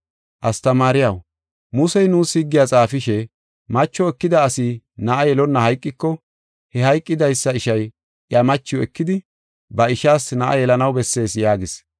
“Astamaariyaw, Musey nuus higgiya xaafishe, ‘Macho ekida asi na7a yelonna hayqiko, he hayqidaysa ishay iya machiw ekidi, ba ishaas na7a yelanaw bessees’ yaagis.